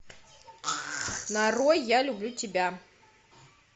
нарой я люблю тебя